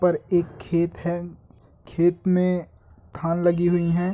पर एक खेत है खत में धन लगी हुई है